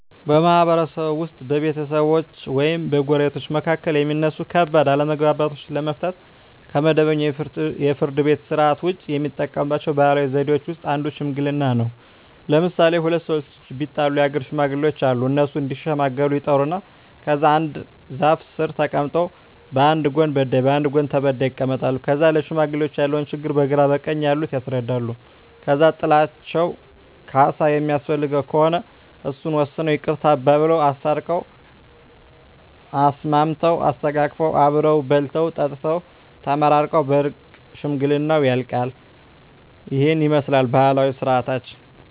በማህበረሰብዎ ውስጥ በቤተሰቦች ወይም በጎረቤቶች መካከል የሚነሱ ከባድ አለመግባባቶችን ለመፍታት (ከመደበኛው የፍርድ ቤት ሥርዓት ውጪ) የሚጠቀሙባቸው ባህላዊ ዘዴዎች ውስጥ አንዱ ሽምግልና ነው። ለምሣሌ፦ ሁለት ሠዎች ቢጣሉ የአገር ሽማግሌዎች አሉ። እነሱ እዲሸመግሉ ይጠሩና ከዛ አንድ ዛፍ ስር ተቀምጠው በአንድ ጎን በዳይ በአንድ ጎን ተበዳይ ይቀመጣሉ። ከዛ ለሽማግሌዎች ያለውን ችግር በግራ በቀኝ ያሉት ያስረዳሉ። ከዛ ጥላቸው ካሣ የሚያስፈልገው ከሆነ እሱን ወስነው ይቅርታ አባብለው። አስታርቀው፤ አሳስመው፤ አሰተቃቅፈው አብረው በልተው ጠጥተው ተመራርቀው በእርቅ ሽምግልናው ያልቃ። ይህንን ይመስላል ባህላዊ ስርዓታችን።